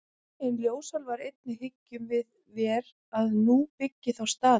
En ljósálfar einir hyggjum vér að nú byggi þá staði.